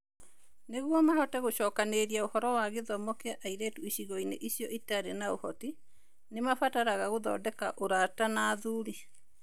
Nĩguo mahote gũcokanĩrĩria ũhoro wa gĩthomo kĩa airĩtu icigo-inĩ icio itarĩ na ũhoti, nĩ mabataraga gũthondeka ũrata na athuri (wazee).